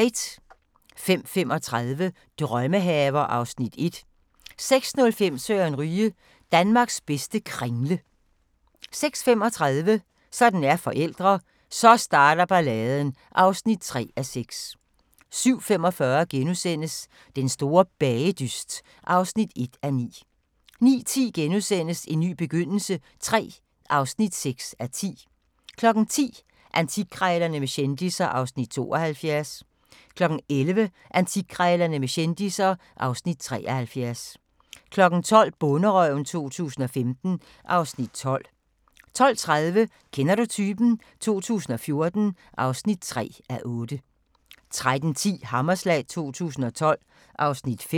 05:35: Drømmehaver (Afs. 1) 06:05: Søren Ryge: Danmarks bedste kringle 06:35: Sådan er forældre – Så starter balladen (3:6) 07:45: Den store bagedyst (1:9)* 09:10: En ny begyndelse III (6:10)* 10:00: Antikkrejlerne med kendisser (Afs. 72) 11:00: Antikkrejlerne med kendisser (Afs. 73) 12:00: Bonderøven 2015 (Afs. 12) 12:30: Kender du typen? 2014 (3:8) 13:10: Hammerslag 2012 (Afs. 5)